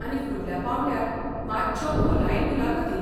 आनी फुडल्या पांवड्यार मात्श्यो खोलायेन मुलाखती.